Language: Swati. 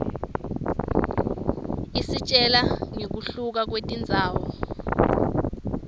isitjela ngekuhluka kwetindzawo